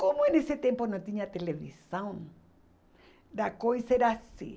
Como eh nesse tempo não tinha televisão, a coisa era assim.